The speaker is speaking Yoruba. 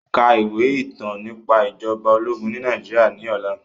Ka ìwé ìtàn nípa ìjọba ológun ní Nàìjíríà ní ọ̀la